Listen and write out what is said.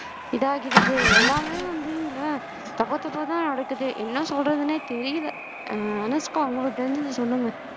இதாகிடுது எல்லாமே வந்து இங்க தப்பு தப்பாதான் நடக்குது என்ன சொல்றதுனே தெரியலே ஆஹ் அனுஷ்கா உங்களுக்கு தெரிஞ்சதை சொல்லுங்க